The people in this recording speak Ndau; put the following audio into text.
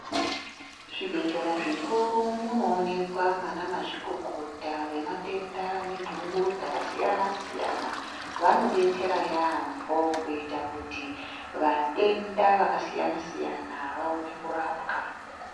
Muzvibhedhlera zvikuru munoonekwa mana mazvikokota vematenda nendungo dzakasiyana siyana vanodetsera yambo kuita kuti vatenda vakasiyana siyana vaone kurapwa.